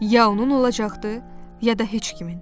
Ya onun olacaqdı, ya da heç kimin.